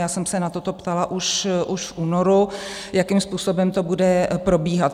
Já jsem se na toto ptala už v únoru, jakým způsobem to bude probíhat.